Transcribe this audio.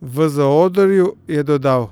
V zaodrju je dodal: